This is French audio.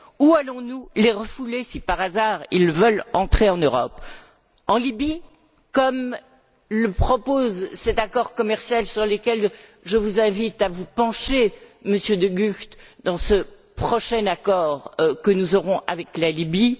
Où allons nous les refouler si, par hasard, ils veulent entrer en Europe? En Libye, comme le propose cet accord commercial sur lequel je vous invite à vous pencher, Monsieur de Gucht, ce prochain accord que nous aurons avec la Libye?